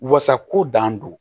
Wasa ko dan don